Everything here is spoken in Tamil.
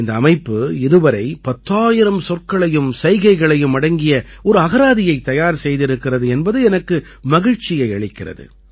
இந்த அமைப்பு இதுவரை 10000 சொற்களையும் சைகைகளையும் அடங்கிய ஒரு அகராதியை தயார் செய்திருக்கிறது என்பது எனக்கு மகிழ்ச்சியை அளிக்கிறது